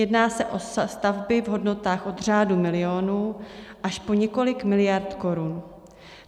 Jedná se o stavby v hodnotách od řádu milionů až po několik miliard korun.